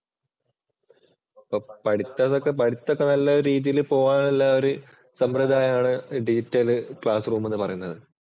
പഠിത്തം ഇതൊക്കെ പഠിത്തമൊക്കെ നല്ല രീതിയിൽ പോകാൻ ഉള്ളേ ഒരു സമ്പ്രദായാണ് ഡിജിറ്റല്‍ ക്ലാസ് റൂം എന്ന് പറയണത്.